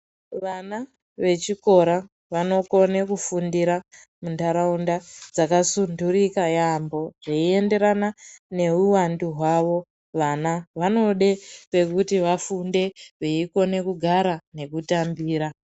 Vama vechikora vanokone kufundira muntaraunda dzakasundurika yaambo zveiyenderana neuwandu hwawo. Vana vanode pekuti vafunde veikona kugara nekutambira.